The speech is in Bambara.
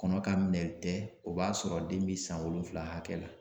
Kɔnɔ ka minɛli tɛ o b'a sɔrɔ den be san wolonfula hakɛ la.